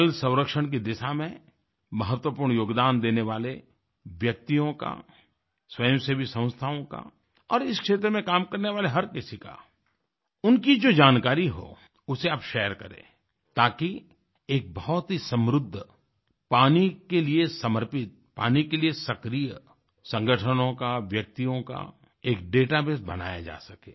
जल संरक्षण की दिशा में महत्वपूर्ण योगदान देने वाले व्यक्तियों का स्वयं सेवी संस्थाओं का और इस क्षेत्र में काम करने वाले हर किसी का उनकी जो जानकारी हो उसे आप शेयर करें ताकि एक बहुत ही समृद्ध पानी के लिए समर्पित पानी के लिए सक्रिय संगठनों का व्यक्तियों का एक डेटाबेस बनाया जा सके